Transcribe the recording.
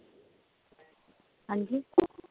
ਹਾਂਜੀ